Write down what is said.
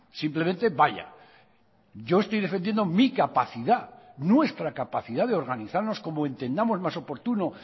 simplemente vaya yo estoy defendiendo mi capacidad nuestra capacidad de organizarnos como entendamos más oportuno